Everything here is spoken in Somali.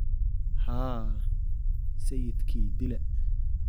Haa, sayidkii dila